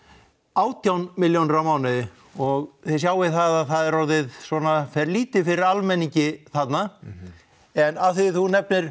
átján milljónir á mánuði og þið sjáið það að það er orðið svona fer lítið fyrir almenningi þarna en af því að þú nefnir